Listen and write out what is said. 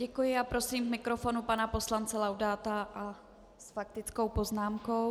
Děkuji a prosím k mikrofonu pana poslance Laudáta s faktickou poznámkou.